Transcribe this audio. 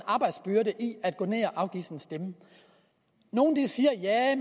arbejdsbyrde i at gå ned og afgive sin stemme nogle siger at